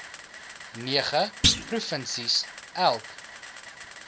nege provinsies elk